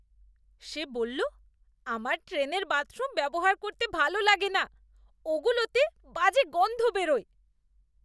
সে বলল, আমার ট্রেনের বাথরুম ব্যবহার করতে ভালো লাগে না, "ওগুলোতে বাজে গন্ধ বেরোয়।"